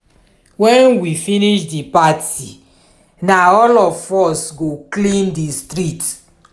wen we finish di party na all of us go clean di street